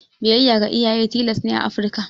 Biyayya ga iyaye tilas ne a Afrika.